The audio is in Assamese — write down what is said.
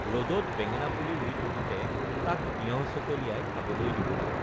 ৰদত বেঙেনা পুলি ৰুই থাকোঁতে তাক তিয়ঁহ চকলিয়াই খাবলৈ দিবলৈ